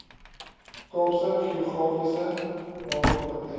kaapse geografiese namekomitee